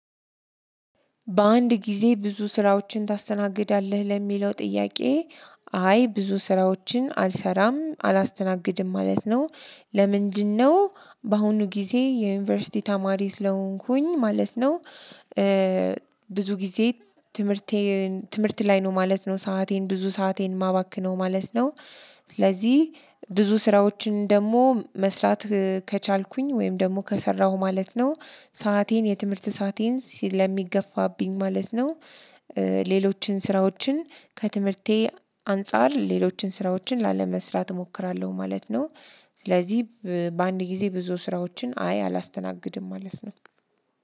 በአንድ ጊዜ ብዙ ስራዎችን ታስተናግዳለህ? ለሚለው ጥያቄ አይ ብዙ ስራዎችን አልሰራም፣ አላስተናግድም ማለት ነው። ለምንድነው በአሁኑ ጊዜ የዩኒቨርሲቲ ተማሪ ስለሆንኩኝ ማለት ነው ብዙ ጊዜ ትምህርቴን ትምህርት ላይ ነው ማለት ነው ሰአቴን ብዙ ሰአቴን ማባክነው ማለት ነው ስለዚህ ብዙ ስራዎችን ደግሞ መስራት ከቻልኩኝ፥ ወይም ደግሞ ከሰራሁ ማለት ነው ሰአቴን፥ የትምህርት ሰአቴን ስለሚገፋብኝ ማለት ነው ሌሎችን ስራዎችን ከትምህርቴ አንፃር ሌሎችን ስራዎችን ላለመስራት እሞክራለሁ ማለት ነው ስለዚህ በአንድ ጊዜ ብዙ ስራዎችን አይ አላስተናግድም ማለት ነው።